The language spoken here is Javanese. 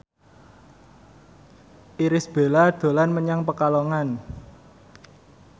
Irish Bella dolan menyang Pekalongan